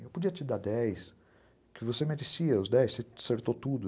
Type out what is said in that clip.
Eu podia te dar dez, que você merecia os dez, você acertou tudo.